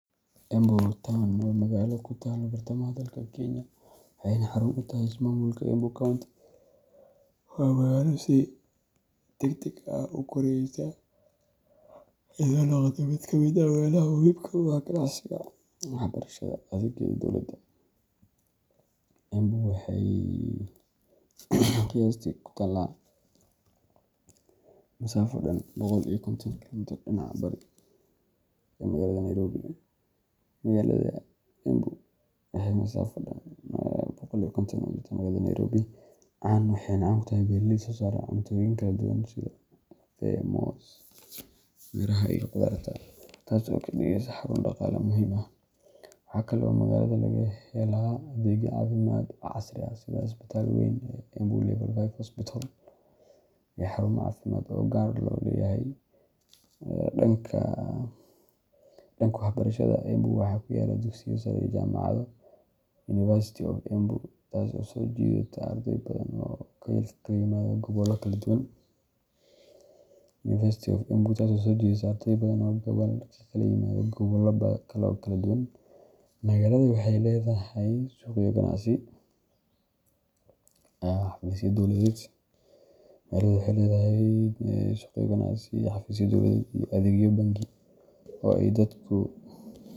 Embu town waa magaalo ku taalla bartamaha dalka Kenya, waxayna xarun u tahay ismaamulka Embu County. Waa magaalo si degdeg ah u koraysa, iyadoo noqotay mid ka mid ah meelaha muhiimka ah ee ganacsiga, waxbarashada iyo adeegyada dawladda. Embu waxay qiyaastii ku taallaa masaafo dhan boqol iyo konton kiiloomitir dhinaca bari ee magaalada Nairobi. Magaalada Embu waxay caan ku tahay beeralayda soo saara cuntooyin kala duwan sida kafee, moos, miraha iyo khudaarta, taas oo ka dhigaysa xarun dhaqaale oo muhiim ah. Waxaa kale oo magaalada laga helaa adeegyo caafimaad oo casri ah sida isbitaalka weyn ee Embu Level 5 Hospital iyo xarumo caafimaad oo gaar loo leeyahay. Dhanka waxbarashada, Embu waxaa ku yaal dugsiyo sare iyo jaamacadda University of Embu, taas oo soo jiidata arday badan oo ka kala yimaada gobollo kala duwan. Magaalada waxay leedahay suuqyo ganacsi, xafiisyo dawladeed iyo adeegyo bangi oo ay dadku.